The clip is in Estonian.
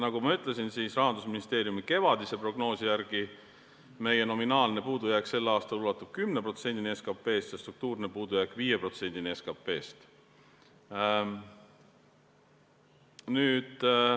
Nagu ma ütlesin, Rahandusministeeriumi kevadise prognoosi järgi meie nominaalne puudujääk sel aastal ulatub 10%-ni SKP-st ja struktuurne puudujääk 5%-ni SKP-st.